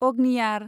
अग्नियार